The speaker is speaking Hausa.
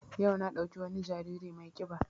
Yau na ɗauki wani jariri mai ƙiba